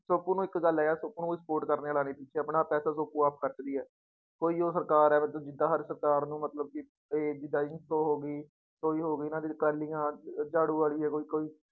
ਸੋਪੂ ਇੱਕ ਗੱਲ ਹੈ ਯਾਰ ਸੋਪੂ ਨੂੰ ਕੋਈ support ਕਰਨ ਵਾਲਾ ਨੀ ਸੀ ਤੇ ਆਪਣਾ ਪੈਸਾ ਸੋਪੂ ਆਪ ਖ਼ਰਚਦੀ ਹੈ ਕੋਈ ਉਹ ਸਰਕਾਰ ਹੈ ਮਤਲਬ ਜਿੱਦਾਂ ਸਾਡੀ ਸਰਕਾਰ ਨੂੰ ਮਤਲਬ ਕਿ ਹੋ ਗਈ ਕੋਈ ਹੋ ਗਈ ਅਕਾਲੀਆਂ, ਝਾੜੂ ਵਾਲੀ ਹੈ ਕੋਈ ਕੋਈ